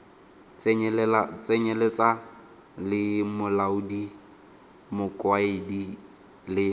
tsenyeletsa le molaodi mokaedi le